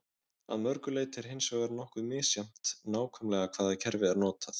Að öðru leyti er hins vegar nokkuð misjafnt nákvæmlega hvaða kerfi er notað.